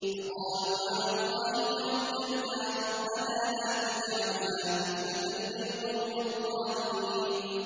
فَقَالُوا عَلَى اللَّهِ تَوَكَّلْنَا رَبَّنَا لَا تَجْعَلْنَا فِتْنَةً لِّلْقَوْمِ الظَّالِمِينَ